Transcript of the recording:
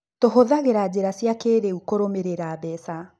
Tũhũthagĩra njĩra cia kĩĩrĩu kũrũmĩrĩra mbeca.